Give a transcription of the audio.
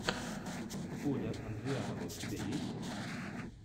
оля андрианова у тебя есть